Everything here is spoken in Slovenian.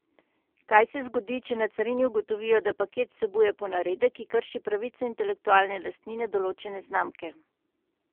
Kaj se zgodi, če na carini ugotovijo, da paket vsebuje ponaredek, ki krši pravice intelektualne lastnine določene znamke?